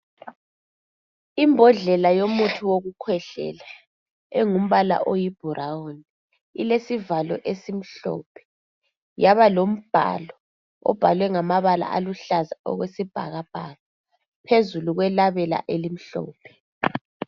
Imbodlela eyomuthi wokukhwehlela elombala oyibhurawuni ilesivalo esimhlophe yaba lombalo oluhlaza okwesibhakabhaka phezu kwelabela elimhlophe.